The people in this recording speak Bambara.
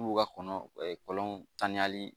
N'u ka kɔnɔ kɔlɔn tan ni